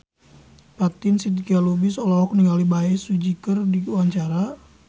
Fatin Shidqia Lubis olohok ningali Bae Su Ji keur diwawancara